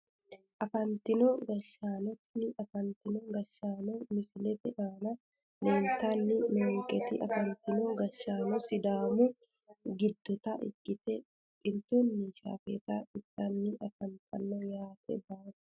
Afantino gashshaano tini afanitino gashshaano misilete aana leeltani noonketi afantino gashshano sidaamu gidota ikite xiltunni shaafeta itani afantano yaate baalu.